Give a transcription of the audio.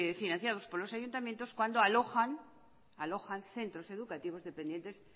financiados por los ayuntamientos cuando alojan centros educativos dependientes